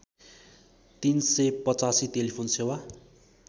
३८५ telephone सेवा